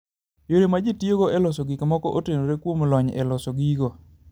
Yore ma ji tiyogo e loso gik moko, otenore kuom lony e loso gigo.